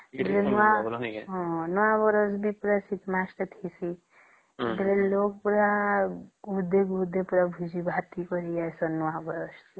ନୂଆ ବର୍ଷ ବି ପୁରା ଶୀତ ମାସ ଟେ ଥଇସି ସେଥିରେ ଲୋକ ମାନେ ପୁରା ଗୁଦି ଗୁଦି ପୁରା ଭୋଜି ଭାତ କରିସେ